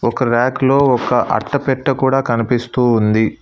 ఒక ర్యాక్ లో ఒక అట్ట పెట్టా కూడా కనిపిస్తూ ఉంది.